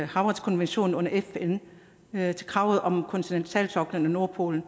havretskommissionen under fn kravet om kontinentalsoklen og nordpolen